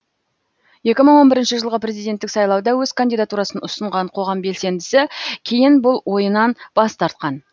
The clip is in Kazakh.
екі мың он бірінші жылғы президенттік сайлауда өз кандидатурасын ұсынған қоғам белсендісі кейін бұл ойынан бас тартқан